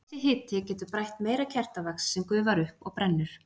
Þessi hiti getur brætt meira kertavax sem gufar upp og brennur.